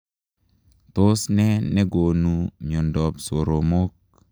Tos nee negonuu miondop soromok?